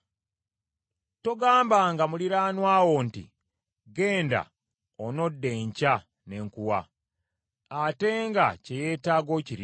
Togambanga muliraanwa wo nti, “Genda, onodda enkya ne nkuwa,” ate nga kye yeetaaga okirina.